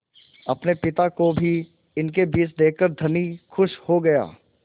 अपने पिता को भी इनके बीच देखकर धनी खुश हो गया